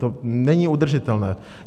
To není udržitelné.